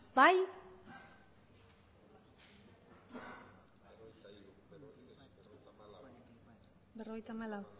aldeko botoak aurkako